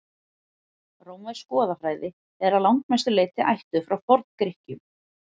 rómversk goðafræði er að langmestu leyti ættuð frá forngrikkjum